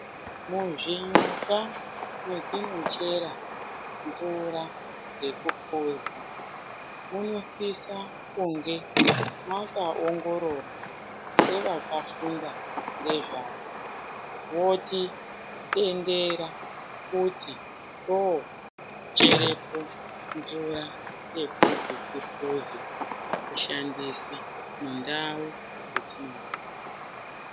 Muzvinyuka mwetinochera mvura yekupuza munosise kunge mwakaongororwa ngevakafunda ngezvazvo votitendera kuti tocherepo mvura yekuti tigozoshandisa mundau dzetiri.